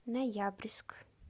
ноябрьск